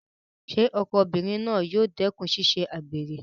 Ṣé ọkọ obìnrin náà yóò dẹ́kùn ṣíṣe àgbèrè?